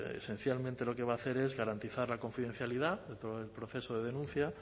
esencialmente lo que va a hacer es garantizar la confidencialidad de todo el proceso de denuncia